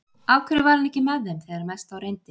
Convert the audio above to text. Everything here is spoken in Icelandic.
Af hverju var hann ekki með þeim þegar mest á reyndi?